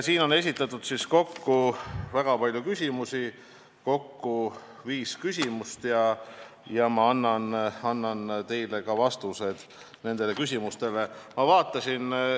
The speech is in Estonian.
Siin on esitatud väga palju küsimusi, kokku viis küsimust, ja ma annan nendele küsimustele ka vastused.